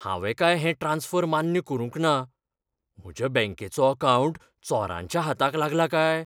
हांवें काय हें ट्रांस्फर मान्य करूंक ना, म्हज्या बँकेचो अकावंट चोरांच्या हाताक लागला काय?